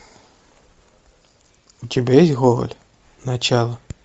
у тебя есть гоголь начало